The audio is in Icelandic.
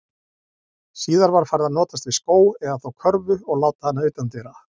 Síðar var farið að notast við skó, eða þá körfu og láta hana utandyra.